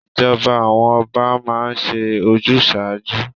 Ìjọba àwọn Ọba máa ń ṣe ojúsàájú.